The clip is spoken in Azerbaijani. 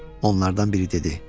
Onlardan biri dedi.